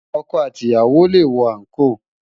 Òkò àtí iyàwó lé wò ànkó